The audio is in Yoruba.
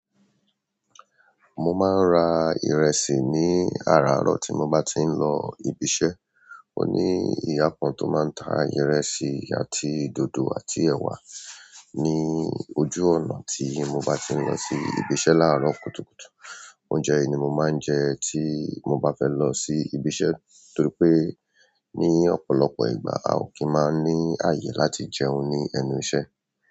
Mo máa ń ra ìrẹsì ní àràárọ̀ tí mo bá ti ń lọ ibi iṣẹ́. Ó ní ìyá kan tó máa ń ta ìrẹsì àti dòdò àti ẹ̀wà ní ojú ọ̀nà tí mo bá ti ń lọ sí ibi iṣẹ́ láàárọ̀ kùtùkùtù. Oúnjẹ yìí ni mo máa ń jẹ tí mo bá fẹ́ lọ sí ibi iṣẹ́ torí pé ní ọ̀pọ̀lọpọ̀ ìgbà a o kì í máa ń ní ààyè láti jẹun ní ẹnu iṣẹ́.